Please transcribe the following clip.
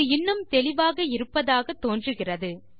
இது இன்னும் தெளிவாக இருப்பதாக தோன்றுகிறது